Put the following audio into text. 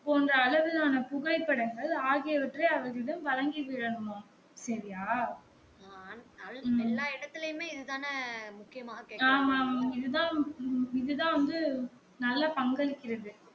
போன்ற அளவிலான புகைப்படங்கள் ஆகியவற்றை அவரிடம் வழங்கி விடனும்மாம் சரியா எல்லா இடத்துலையும் இதுதான ஆமா ஆமா இது தான் இது தான் வந்து நல்ல பங்களிக்கிறது